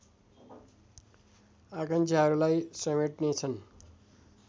आकांक्षाहरूलाई समेट्नेछन्